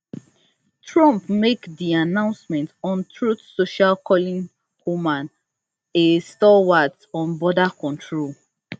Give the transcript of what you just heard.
trump make di announcement on truth social calling homan a stalwart on border control